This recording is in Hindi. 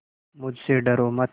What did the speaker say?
मुझसे डरो मत